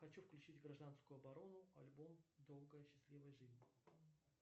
хочу включить гражданскую оборону альбом долгая счастливая жизнь